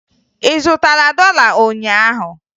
Ị zụtara dọla ụnyaahụ?